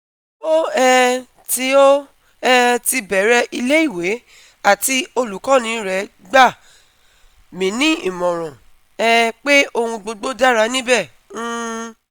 o um ti o um ti bẹrẹ ile-iwe ati olukọni re gba mi ni imọran um pe ohun gbogbo dara nibẹ um